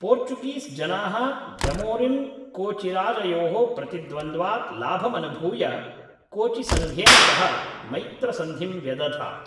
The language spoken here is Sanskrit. पोर्चुगीस् जनाः जमोरिन् कोचिराजयोः प्रतिद्वन्द्वात् लाभमनुभूय कोचिसङ्घेन सह मैत्रसन्धिं व्यदधात्